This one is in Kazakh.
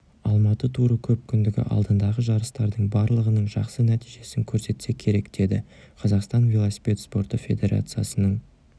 алматы туры көпкүндігі алдындағы жарыстардың барлығының жақсы нәтижесін көрсетсе керек деді қазақстан велосипед спорты федерациясының